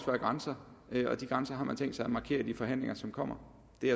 være grænser og de grænser har man tænkt sig at markere i de forhandlinger som kommer